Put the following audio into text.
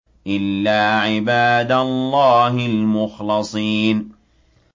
إِلَّا عِبَادَ اللَّهِ الْمُخْلَصِينَ